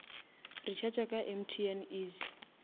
recharga ka mtn easy